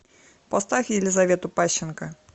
поставь елизавету пащенко